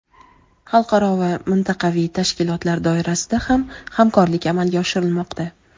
Xalqaro va mintaqaviy tashkilotlar doirasida ham hamkorlik amalga oshirilmoqda.